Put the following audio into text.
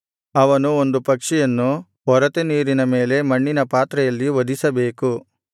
ಅವನು ಒಂದು ಪಕ್ಷಿಯನ್ನು ಒರತೆ ನೀರಿನ ಮೇಲೆ ಮಣ್ಣಿನ ಪಾತ್ರೆಯಲ್ಲಿ ವಧಿಸಬೇಕು